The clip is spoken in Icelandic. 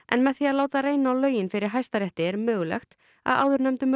en með því að láta reyna á lögin fyrir Hæstarétti er mögulegt að áðurnefndum